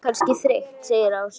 Hún er kannski þreytt segir Ása.